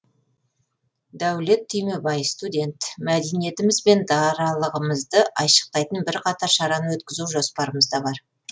дәулет түймебай студент мәдениетіміз бен даралығымызды айшықтайтын бірқатар шараны өткізу жоспарымызда бар